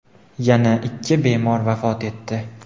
yana ikki bemor vafot etdi.